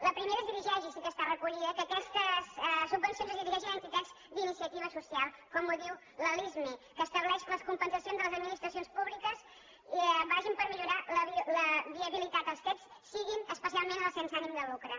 la primera es dirigeix i sí que ha estat recollida que aquestes subvencions es dirigeixin a entitats d’iniciativa social com ho diu la lismi que estableix que les compensacions de les administracions públiques vagin per millorar la viabilitat dels cet especialment la dels sense ànim de lucre